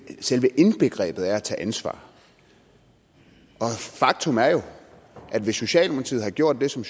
selve indbegrebet af at tage ansvar faktum er jo at hvis socialdemokratiet havde gjort det som